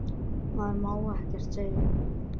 Maður má ekkert segja.